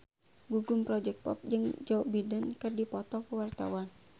Gugum Project Pop jeung Joe Biden keur dipoto ku wartawan